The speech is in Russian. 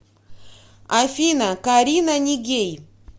афина карина нигей